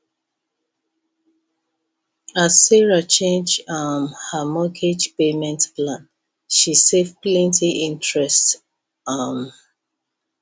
as sarah change um her mortgage payment plan she save plenty interest um